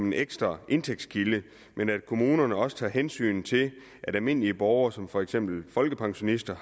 en ekstra indtægtskilde men at kommunerne også tager hensyn til at almindelige borgere som for eksempel folkepensionister